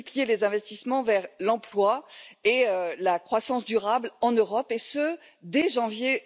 les investissements pour l'emploi et la croissance durable en Europe, et ce dès janvier